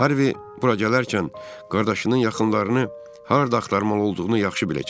Harvi bura gələrkən qardaşının yaxınlarını harda axtarmalı olduğunu yaxşı biləcək.